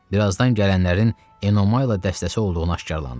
Birazdan gələnlərin Enomaylı dəstəsi olduğunu aşkarladı.